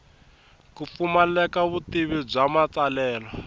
ku pfumaleka vutivi bya matsalelo